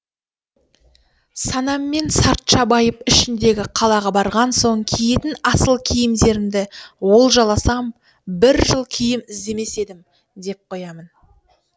санаммен сартша байып ішіндегі қалаға барған соң киетін асыл киімдерді олжаласам бір жыл киім іздемес едім деп қоямын